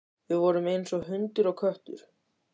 Við vorum eins og hundur og köttur.